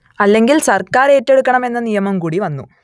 അല്ലെങ്കിൽ സർക്കാർ ഏറ്റെടുക്കണം എന്ന നിയമം കൂടി വന്നു